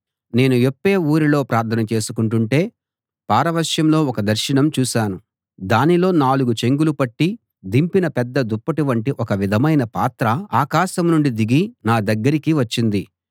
నేను యొప్పే ఊరిలో ప్రార్థన చేసుకుంటుంటే పారవశ్యంలో ఒక దర్శనం చూశాను దానిలో నాలుగు చెంగులు పట్టి దింపిన పెద్ద దుప్పటి వంటి ఒక విధమైన పాత్ర ఆకాశం నుండి దిగి నా దగ్గరికి వచ్చింది